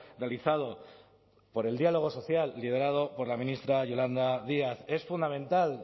realizado por el diálogo social liderado por la ministra yolanda díaz es fundamental